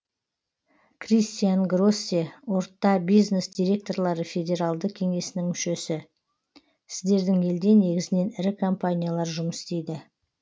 кристиан гроссе орта бизнес директорлары федералды кеңесінің мүшесі сіздердің елде негізінен ірі компаниялар жұмыс істейді